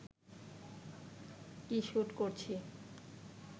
কী shoot করছি